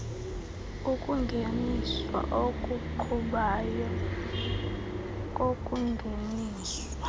ukungeniswa okuqhubayo kokungeniswa